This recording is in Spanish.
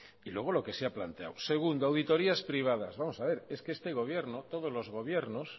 y luego lo que se ha planteado segundo auditorías privadas vamos a ver es que este gobierno todos los gobiernos